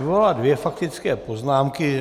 Vyvolala dvě faktické poznámky.